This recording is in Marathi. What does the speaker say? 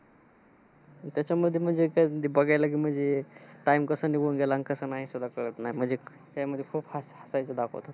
त्याच्यामध्ये म्हणेज काय बघायला म्हणजे, अह time कसं निघून गेलं आणि कसं नाही सुद्धा कळत नाही. म्हणजे त्यामध्ये खूप हास हसायचं दाखवतात.